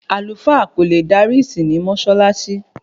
Àlùfáà kò lè dárí ìsìn ní Mọ́ṣáláṣí